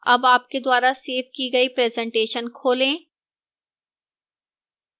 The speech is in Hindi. अब आपके द्वारा सेव की गई presentation खोलें